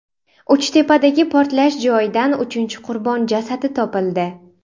Uchtepadagi portlash joyidan uchinchi qurbon jasadi topildi.